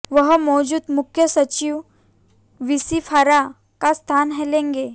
वह मौजूद मुख्य सचिव वीसी फारका का स्थान लेंगे